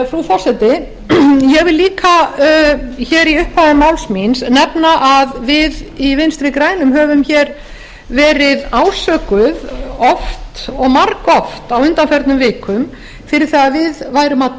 frú forseti ég vil líka hér í upphafi máls míns nefna að við í vinstri grænum höfum hér verið ásökuð oft og margoft á undanförnum vikum fyrir það að við værum að